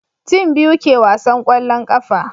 tim biyu ke wasan kwallon ƙafa